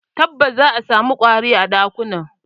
Tabbas, za'a samu ƙwari a ɗakunan.